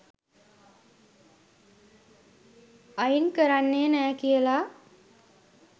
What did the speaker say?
අයින්කරන්නෙ නෑ කියල.